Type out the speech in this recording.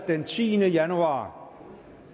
den tiende januar